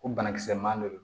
Ko banakisɛ man di